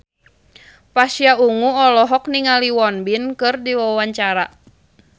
Pasha Ungu olohok ningali Won Bin keur diwawancara